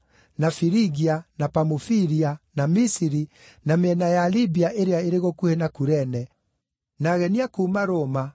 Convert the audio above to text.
na Firigia, na Pamufilia, na Misiri, na mĩena ya Libia ĩrĩa ĩrĩ gũkuhĩ na Kurene, na ageni a kuuma Roma,